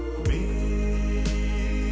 í